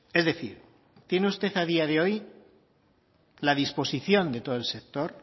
es decir tiene usted a día de hoy la disposición de todo el sector